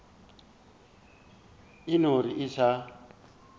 o eno re a sa